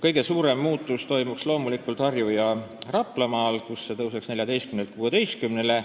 Kõige suurem muutus toimuks loomulikult Harju- ja Raplamaal, kus see arv tõuseks 14-lt 16-le.